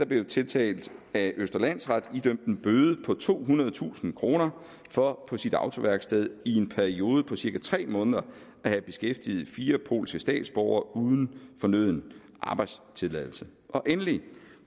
blev en tiltalt af østre landsret idømt en bøde på tohundredetusind kroner for på sit autoværksted i en periode på cirka tre måneder at have beskæftiget fire polske statsborgere uden fornøden arbejdstilladelse endelig vil